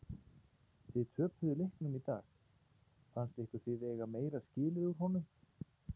Þið töpuðu leiknum í dag fannst ykkur þið eiga meira skilið úr honum?